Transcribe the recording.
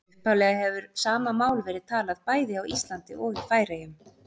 Upphaflega hefur sama mál verið talað bæði á Íslandi og í Færeyjum.